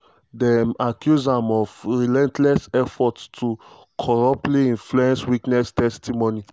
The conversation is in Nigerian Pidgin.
dem accuse am of "relentless efforts" to "corruptly influence witness testimony".